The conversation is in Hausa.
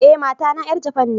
Eh, mata na yar Japan ne.